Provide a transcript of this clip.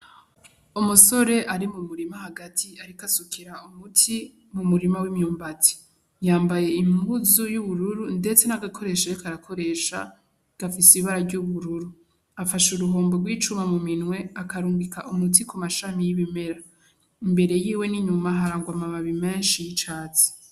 Umusore ari mumurima hagati ariko asukira umuti mumurima W'imyumbati. Yambaye impuzu y'ubururu ndetse n'agakoresho ariko arakoresha gafise ibara ry'ubururu. Afashe uruhombo gw'icuma muminwe akarungika umuti kumashami y'ibimera. Imbere yiwe n'inyuma harangwa amababi menshi y'icatsi.